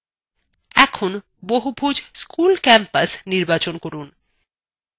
এখন বহুভুজ school campus নির্বাচন করুন